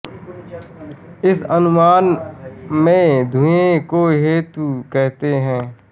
इस अनुमान में धुएँ को हेतु कहते हैं